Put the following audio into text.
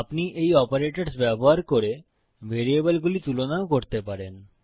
আপনি এই অপারেটরস ব্যবহার করে ভেরিয়েবলগুলি তুলনাও করতে পারেন